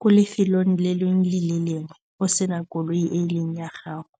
ko lefelong le lengwe le lengwe o sena koloi e leng ya gago.